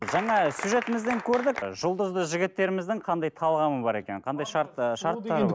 жаңа сюжетімізден көрдік ы жұлдызды жігіттеріміздің қандай талғамы бар екенін қандай шарт ы шарттары